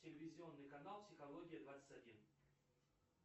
телевизионный канал психология двадцать один